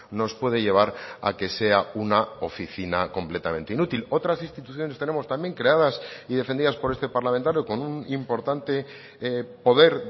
nos puede llevar a que sea una oficina completamente inútil otras instituciones tenemos también creadas y defendidas por este parlamentario con un importante poder